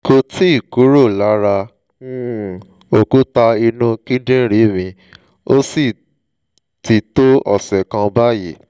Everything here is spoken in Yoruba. kò tíì kúrò lára um òkúta inú kíndìnrín mi ó sì ti tó ọ̀sẹ̀ kan báyìí